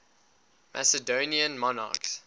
macedonian monarchs